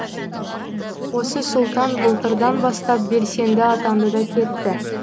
осы сұлтан былтырдан бастап белсенді атанды да кетті